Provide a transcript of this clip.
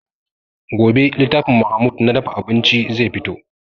Gobe littafin mahmud na dafa abinci zai fito